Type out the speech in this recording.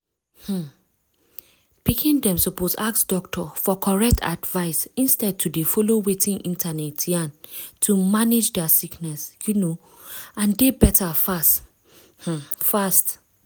um pikin dem suppose ask doctor for correct advice instead to dey follow wetin internet yarn to manage dia sickness um and dey beta fast um fast.